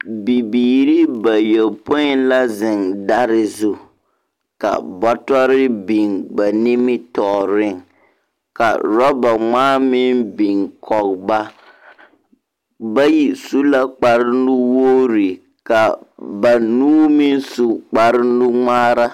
Bibiiri bayɔpõĩ la zeŋ dare zu, ka bɔtɔre biŋ ba nimitɔɔreŋ, ka orɔba-ŋmaa meŋ biŋ kɔge ba. Bayi su la kparenuwogri ka banuu meŋ su kparenuŋmaara.